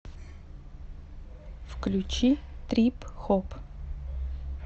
включи трип хоп